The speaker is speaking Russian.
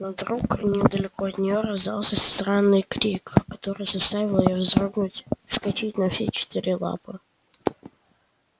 но вдруг недалеко от неё раздался странный крик который заставил её вздрогнуть и вскочить на все четыре лапы